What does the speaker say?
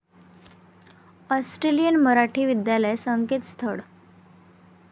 Australian Marathi विद्यालय संकेतस्थळ